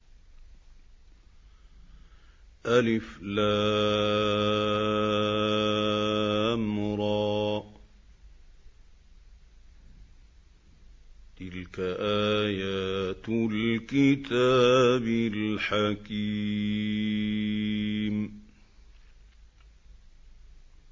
الر ۚ تِلْكَ آيَاتُ الْكِتَابِ الْحَكِيمِ